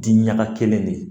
Diɲaga kelen de